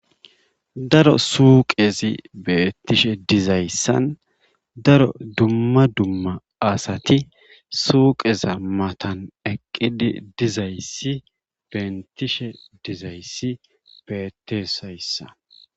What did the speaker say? Daro suuqezi beettishe dizayssa daro dumma dumma asati suuqea matan eqqidi dizayssi benttishe dizaayssi bentteees hayssan.